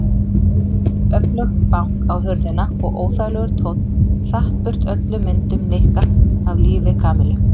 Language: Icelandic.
Öflugt bank á hurðina og óþægilegur tónn hratt burt öllum myndum Nikka af lífi Kamillu.